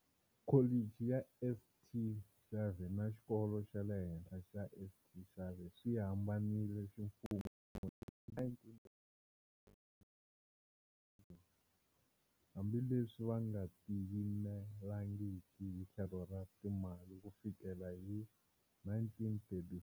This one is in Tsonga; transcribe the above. Kholichi ya St. Xavier na Xikolo xa le Henhla xa St. Xavier swi hambanile ximfumo hi 1919, hambi leswi va nga tiyimelangiki hi tlhelo ra timali ku fikela hi 1934.